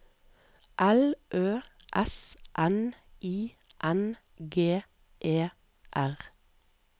L Ø S N I N G E R